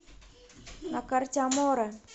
на карте аморе